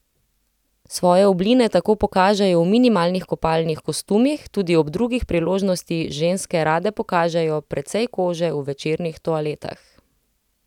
Svoje obline tako pokažejo v minimalnih kopalnih kostumih, tudi ob drugih priložnosti ženske rade pokažejo precej kože v večernih toaletah.